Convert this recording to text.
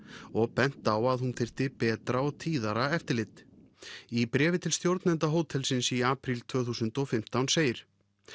og bent á að hún þyrfti betra og tíðara eftirlit í bréfi til stjórnenda hótelsins í apríl tvö þúsund og fimmtán segir